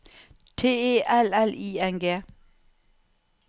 T E L L I N G